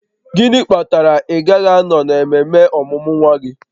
Gịnị kpatara na ị gaghị anọ n'ememe ọmụmụ nwa gị?